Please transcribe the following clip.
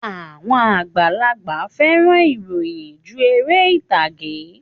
Àwọn àgbàlagbà fẹ́ràn ìròyìn ju ère ìtagé